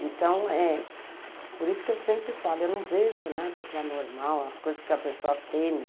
Então é por isso que eu sempre falo, eu não vejo nada de anormal, as coisas que a pessoa teme.